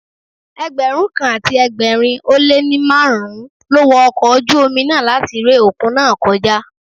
Ẹgbẹ̀rún kan àti ẹgbẹ̀rin ó lé ní márùn-ún ló wo ọkọ̀ ojú omi náà láti ré òkun náà kọjá.